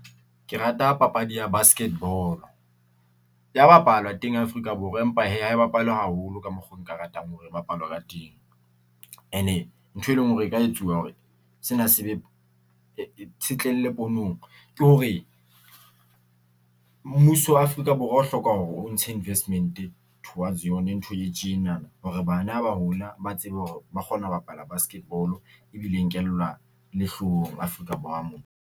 Ke rata papadi ya basket ball-o ya bapalwa teng Afrika Borwa, empa hee ha e bapalwe haholo ka mokgo nka ratang hore e bapalwe ka teng. Ene ntho e leng hore e ka etsuwa hore sena se be ke hore, mmuso wa Afrika Borwa o hloka hore o ntshe investment towards yone ntho e tjena, hore bana ha ba hola, ba tsebe hore ba kgona ho bapala basket ball-o ebile e nkelwa le hlohong Afrika Borwa mona.